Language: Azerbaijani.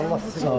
Minnətdarıq.